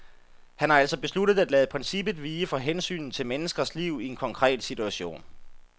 Han har altså besluttet at lade princippet vige for hensynet til menneskers liv i en konkret situation.